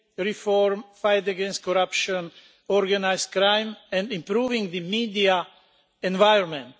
reform, the fight against corruption and organised crime, and improving the media environment.